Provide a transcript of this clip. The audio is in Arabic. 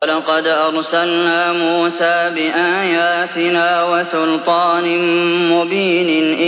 وَلَقَدْ أَرْسَلْنَا مُوسَىٰ بِآيَاتِنَا وَسُلْطَانٍ مُّبِينٍ